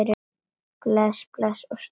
Bless bless og stór koss.